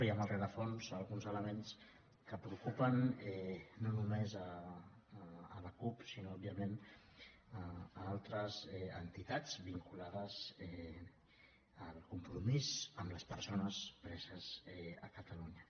i al rerefons alguns elements que preocupen no només la cup sinó òbviament altres entitats vinculades al compromís amb les persones preses a catalunya